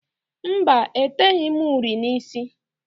Mba, eteghi m uri n'ísí.